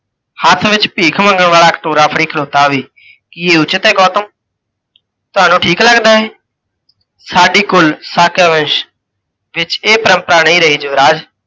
ਹੱਥ ਵਿੱਚ ਭੀਖ ਮੰਗਣ ਵਾਲਾ ਕਟੋਰਾ ਫੜੀ ਖਲੋਤਾ ਹੋਵੇ, ਕੀ ਇਹ ਉਚਿੱਤ ਹੈ ਗੌਤਮ? ਤੁਹਾਨੂੰ ਠੀਕ ਲੱਗਦਾ ਇਹ? ਸਾਡੀ ਕੁੱਲ ਸਾਕਯ ਵੰਸ਼ ਵਿੱਚ ਇਹ ਪਰੰਪਰਾ ਨਹੀਂ ਰਹੀ ਯੁਵਰਾਜ।